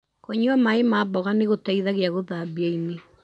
Kũnyua maĩ ma mboga nĩgũteithagia gũthambia ini.